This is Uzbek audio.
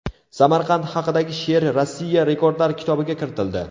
Samarqand haqidagi she’r Rossiya Rekordlar kitobiga kiritildi.